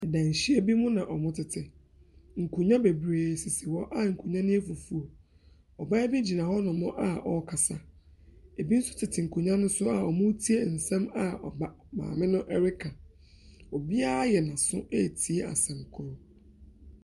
Danhyia bi mu na wɔtete, nkonnwa bebree sisi hɔ a nkonnwa no yɛ fufuo. Ɔbaa bi gyina hɔnom a ɔrekasa, binom nso tete nkonnwa ne so a wɔretie nsɛm a ɔba maame no reka. Obiara ayɛ aso ɛretie asɛm korɔ.